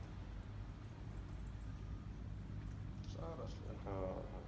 સરસ હા